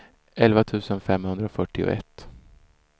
elva tusen femhundrafyrtioett